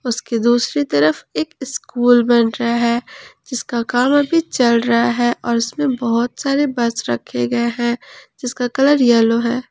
इसके दूसरी तरफ एक स्कूल बन रहा है जिसका काम अभी चल रहा है और इसमें बहुत सारे बस रखे गए हैं जिसका कलर येलो है।